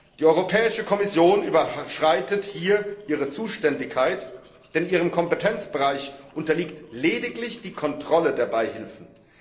Die Europäische Kommission überschreitet hier ihre Zuständigkeit, denn ihrem Kompetenzbereich unterliegt lediglich die Kontrolle der Beihilfen.